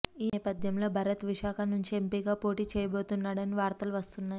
ఈ నేపథ్యంలో భరత్ విశాఖ నుంచి ఎంపీగా పోటీ చేయబోతున్నాడని వార్తలు వస్తున్నాయి